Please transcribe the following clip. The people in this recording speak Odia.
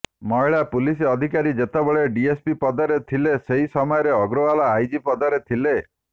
ମହିଳା ପୁଲିସ ଅଧିକାରୀ ଯେତେବେଳେ ଡିଏସ୍ପି ପଦରେ ଥିଲେ ସେହି ସମୟରେ ଅଗ୍ରଓ୍ବାଲ ଆଇଜି ପଦରେ ଥିଲେ